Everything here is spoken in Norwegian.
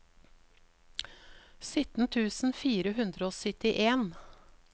sytten tusen fire hundre og syttien